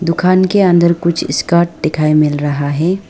दुकान के अंदर कुछ स्कर्ट दिखाई मिल रहा है।